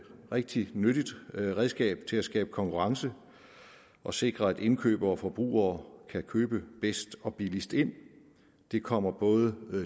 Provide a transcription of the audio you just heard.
rigtig nyttigt redskab til at skabe konkurrence og sikre at indkøbere og forbrugere kan købe bedst og billigst ind det kommer både